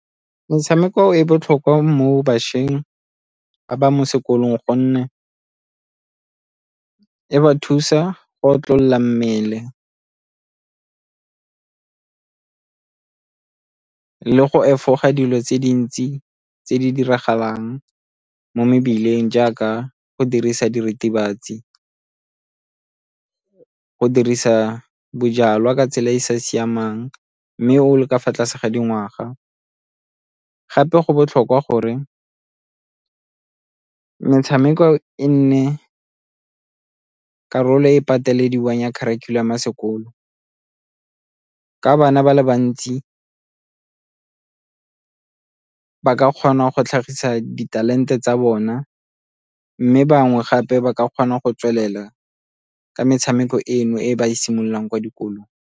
Metshameko e botlhokwa mo bašweng ba ba mo sekolong gonne e ba thusa go otlolola mmele, go efoga dilo tse dintsi tse di diragalang mo mebileng jaaka go dirisa diritibatsi, go dirisa bojalwa ka tsela e e sa siamang mme o le ka fa tlase ga dingwaga. Gape go botlhokwa gore metshameko e nne karolo e e patelediwang ya kharikhulamo ya sekolo ka bana ba le bantsi ba ka kgona go tlhagisa di-talent-e tsa bona mme bangwe gape ba ka kgona go tswelela ka metshameko eno e ba e simololang kwa dikolong.